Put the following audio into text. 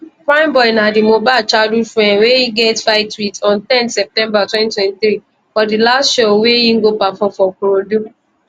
primeboy na di mohbad childhood friend wey e get fight wit on ten september 2023 for di last show wey e go perform for ikorodu